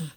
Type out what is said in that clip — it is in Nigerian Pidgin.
um